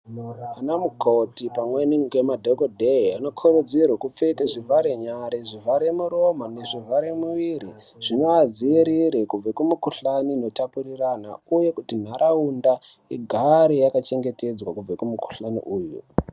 Vanamukoti pamweni ngemadhokodheye vanokurudzirwe kupfeke zvivharenyare, zvivharemuromo nezvivharemuviri zvinoadzivirre kubve kumikuhlani inotapurirana, uye kuti nharaunda igare yakachengetedzwa kubve kumukuhlani uyu.